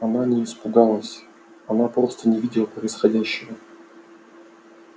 она не испугалась она просто не видела происходящего